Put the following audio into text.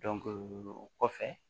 o kɔfɛ